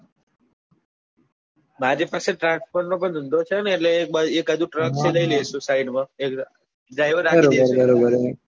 મારી પાસે transport નો પણ ધંધો છે ને એટલે એક હજુ truck છે એ લઇ લઈશું side માં driver રાખી દઈશું